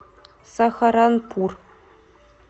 сахаранпур